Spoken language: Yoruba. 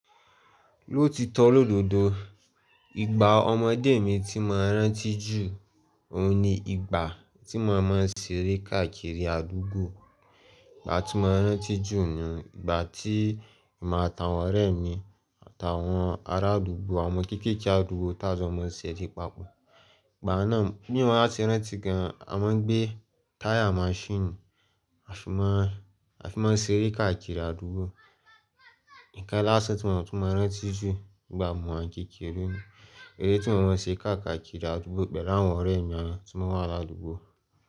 Ló ti tọ́ lóòdòdó, ìgbà ọmọdé mi tí mo rántí jù, òun ni ìgbà tí mo máa ń ṣeré káàkiri àdúgbò. Ìgbà tí mo rántí jù ni ìgbà tí emi atàwọn ọ̀rẹ́ mi àtàwọn ará àdúgbò, àwọn kéékèèké àdúgbò táa jọ máa ń ṣeré papọ̀. Ìgbà náà bí mo wa se rántí gan, a máa ń gbé tire machine, a fi máa ń, a fi máa ń ṣeré káàkiri àdúgbò. Ikan lásán tí mo mo ti mo rántí jù nígbà mọwa n kéékèèré mi, eré tí mo máa ń ṣe káàkiri àdúgbò pẹ̀lú àwọn ọ̀rẹ́ mi awon tí mo n wà ládùúgbò.